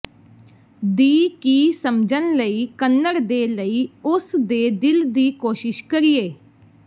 ਦੀ ਕੀ ਸਮਝਣ ਲਈ ਕੱਨੜ ਦੇ ਲਈ ਉਸ ਦੇ ਦਿਲ ਦੀ ਕੋਸ਼ਿਸ਼ ਕਰੀਏ